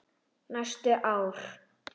Næstu ár.